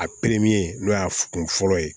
A n'o y'a kun fɔlɔ ye